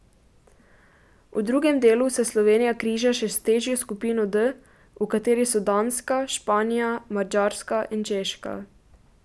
V drugem delu se Slovenija križa še s težjo skupino D, v kateri so Danska, Španija, Madžarska in Češka.